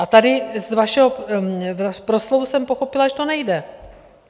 A tady z vašeho proslovu jsem pochopila, že to nejde.